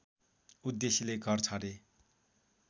उद्देश्यले घर छाडे